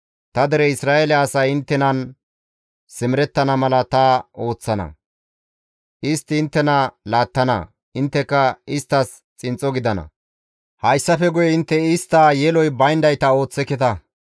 Ta dere Isra7eele asay inttenan simerettana mala ta ooththana; istti inttena laattana; intteka isttas xinxxo gidana; hayssafe guye intte istta yeloy bayndayta ooththeketa.